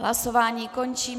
Hlasování končím.